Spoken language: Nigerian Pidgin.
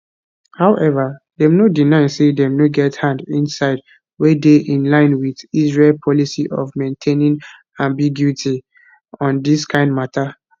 however dem no deny say dem no get hand inside wey dey in line wit israel policy of maintaining ambiguity on dis kain mata